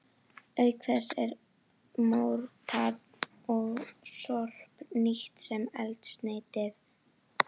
Auk þess er mór, tað og sorp nýtt sem eldsneyti.